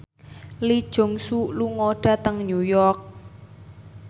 Lee Jeong Suk lunga dhateng New York